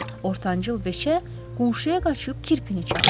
Ortancıl beçə qonşuya qaçıb kirpini çağırır.